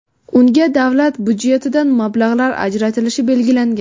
Unga davlat budjetidan mablag‘lar ajratilishi belgilangan.